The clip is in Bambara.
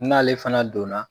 N'ale fana donna